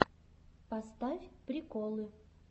поставь приколы